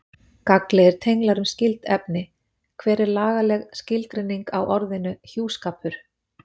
Gagnlegir tenglar um skyld efni Hver er lagaleg skilgreining á orðinu hjúskapur?